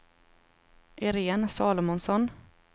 Irene Salomonsson